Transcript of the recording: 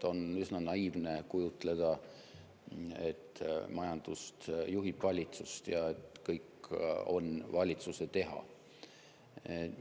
On üsna naiivne kujutleda, et majandust juhib valitsus ja et kõik on valitsuse teha.